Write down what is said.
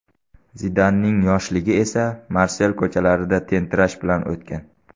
Zidanning yoshligi esa Marsel ko‘chalarida tentirash bilan o‘tgan.